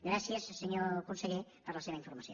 gràcies senyor conseller per la seva informació